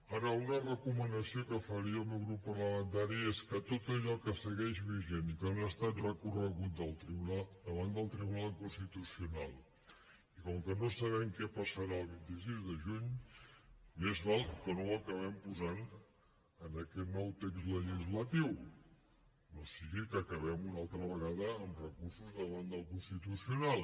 ara una recomanació que faria el meu grup parlamentari és que tot allò que segueix vigent i que no ha estat recorregut davant del tribunal constitucional i com que no sabem què passarà el vint sis de juny més val que no ho acabem posant en aquest nou text legislatiu no sigui que acabem una altra vegada amb recursos davant del constitucional